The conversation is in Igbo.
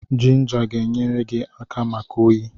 Jinja ga-enyere gi aka maka oyi.